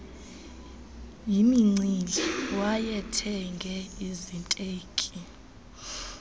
yimincili wayethenge iziteki